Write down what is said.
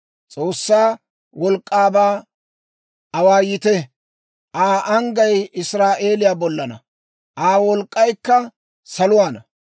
S'oossaa wolk'k'aabaa awaayite; Aa anggay Israa'eeliyaa bollaanna; Aa wolk'k'aykka saluwaana.